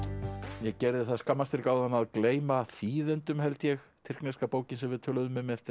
ég gerði það skammarstrik áðan að gleyma þýðendum held ég tyrkneska bókin sem við töluðum um eftir